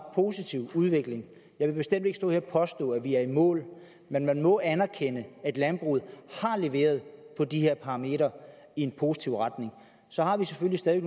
positiv udvikling jeg vil bestemt ikke stå her og påstå at vi er i mål men man må anerkende at landbruget har leveret på de her parametre i en positiv retning så har vi selvfølgelig stadig